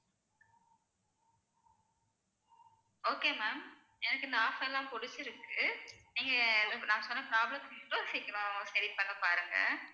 okay ma'am எனக்கு இந்த offer லாம் புடிச்சிருக்கு நீங்க நான் சொன்ன problems மட்டும் சீக்கிரம் சரி பண்ண பாருங்க